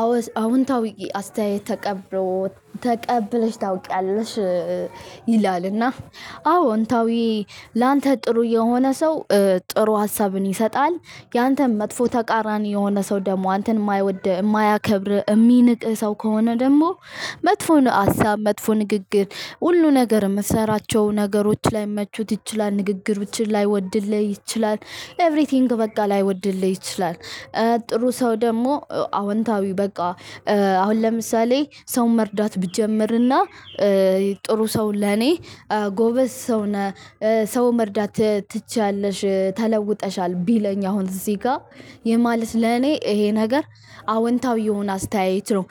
አዎ አዎንታዊ አስተያየት ተቀብሎ ተቀብለሽ ታውቂያለሽ። ይላል እና አዎንታዊ ላንተ ጥሩ የሆነ ሰው ጥሩ ሀሳብን ይሰጠሃል። ያንተን መጥፎ ተቃራኒ የሆነ ሠው ደግሞ አንተን የማይወድህ የማያከብርህ እሚንቅህ ሰው ከሆነ ደግሞ መጥፎ የሆነ ሀሳብ መጥፎ ንግግር ሁሉ ነገር የምሰራቸው ነገሮች ላይመቹት ይችላል ንግግሮችን ላይወድልህ ይችላል። ኤቭሪቲንግ በቃ ላይወድልህ ይችላል። ጥሩ ሰው ደግሞ አዎንታዊው በቃ። አሁን ለምሳሌ ሰው መርዳት ብጀምርና ጥሩ ሰው ለኔ ጎበዝ ሰው ነህ ሰው መርዳት ትችያለሽ ተለውጠሻል ቢለኝ አሁን እዚጋ ይህ ማለት ለኔ ይሄ ነገር አዎንታዊ አስተያየት ነው።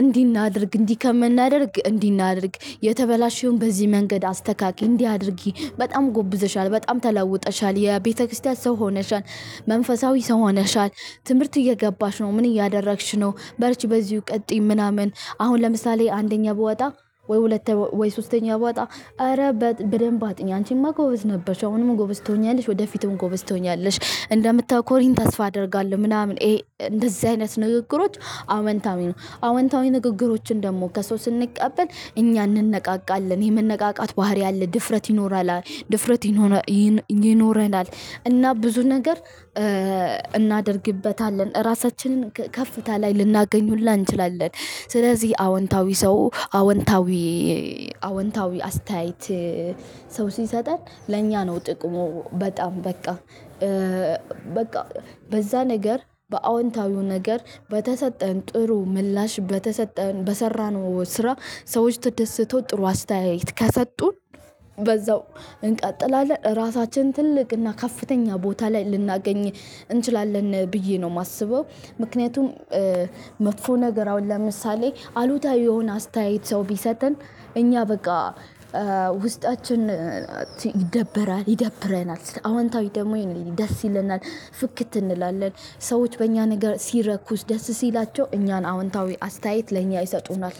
እንዲህ እናድርግ እንዲህ ከምናደርግ እንዲህ እናድርግ የተበላሸውን በዚህ መንገድ አስተካክል እንዲህ አድርጊ በጣም ጎብዘሻል በጣም ተለወጠሻል የቤተክርስቲያን ሰው ሆነሻል። መንፈሳዊ ሰው ሆነሻል ትምህርት እየገባሽ ነው ምን እያደረግሽ ነው? በርች በዚሁ ቀጥይ። ምናምን አሁን ለምሳሌ አንደኛ ብወጣ ወይ ሁለት ወይ ሶስተኛ ብወጣ ኧረ በደንብ አጥኚ አንቺማ ጎበዝ ነበርሽ አሁንም ጎበዝ ትሆኛለሽ ወደፊቱም ጎበዝ ትሆኛለሽ። እንደምታኮሪኝ ተስፋ አደርጋለሽ ምናምን እንደዚህ አይነት ንግግሮች። አዎንታዊ ነው። አዎንታዊ ንግግሮችን ደግሞ ከሰው ስንቀበል እኛ እንነቃቃለን የመነቃቃት ባህሪ አለ ድፍረት ይኖራል ድፍረት ይኖራል። ይኖረናል እና ብዙ ነገር እናደርግበታለን ራሳችንን ከፍታ ላይ ልናገኝ ሁላ እንችላለን። ስለዚህ አዎንታዊ ሰው አዎንታዊ አዎንታዊ አስተያየት ሰው ሲሰጠን ለእኛ ነው ጥቅሙ በጣም በቃ። በቃ በዛ ነገር በአዎንታዊው ነገር በተሰጠን ጥሩ ምላሽ በተሰጠን በሰራነው ስራ ሰዎች ተደስተው ጥሩ አስተያየት ከሰጡን። በዛው እንቀጥላለን ራሳችንን ትልቅ እና ከፍተኛ ቦታ ላይ ልናገኘው እንችላለን ብዬ ነው የማስበው። ምክንያቱም መጥፎ ነገር አሁን ለምሳሌ አሉታዊ የሆነ አስተያየት ሰው ቢሰጠን እኛ በቃ ውስጣችን ይደበራል። ይደብረናል አዎንታዊ ደግሞ ደስ ይለናል። ፍክት እንላለን ሰዎች በእኛ ነገር ሲረኩ ደስ ሲላቸው እኛን አዎንታዊ አስተያየት ለእኛ ይሰጡናል